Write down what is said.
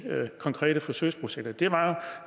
konkrete forsøgsprojekter det var at